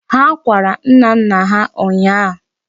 Ha kwara nnanna ha ụnyịa.